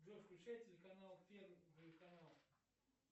джой включай телеканал первый канал